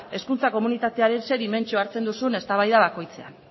hezkuntza komunitatearen ze dimentsioak hartzen duzun eztabaida bakoitzean